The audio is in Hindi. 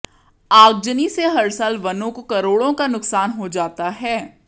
आगजनी से हर साल वनों को करोड़ों का नुकसान हो जाता है